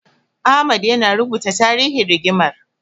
Ahmad yana rubuta tarihin rigimar.